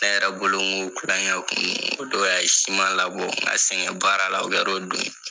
Ne yɛrɛ bolo ŋo kulɔŋɛ kun don, o don a ye labɔ ka sɛŋɛn baara la, o kɛr'o don ye.